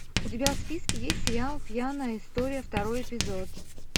у тебя в списке есть сериал пьяная история второй эпизод